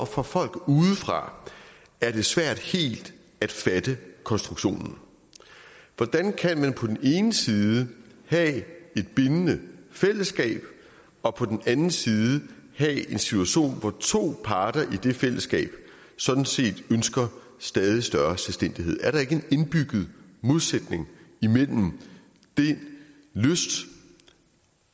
for folk udefra er svært helt at fatte konstruktionen hvordan kan man på den ene side have et bindende fællesskab og på den anden side have en situation hvor to parter i det fællesskab sådan set ønsker stadig større selvstændighed er der ikke en indbygget modsætning imellem den lyst